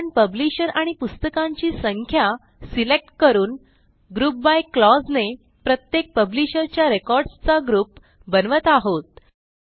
आपण पब्लिशर आणि पुस्तकांची संख्या सिलेक्ट करून ग्रुप बाय क्लॉज ने प्रत्येक पब्लिशर च्या रेकॉर्ड्स चा ग्रुप बनवत आहोत